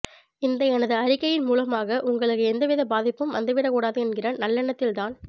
இந்த எனது அறிக்கையின் மூலமாக உங்களுக்கு எந்த வித பாதிப்பும் வந்துவிடக்கூடாது என்கிற நல்லெண்ணத்தில் தான்